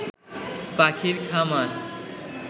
পাখির খামার